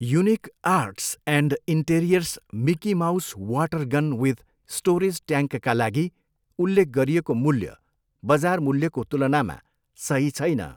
Unique arts and interiors Mickey Mouse water gun with storage ट्याङ्कका लागि उल्लेख गरिएको मूल्य बजार मूल्यको तुलनामा सही छैन।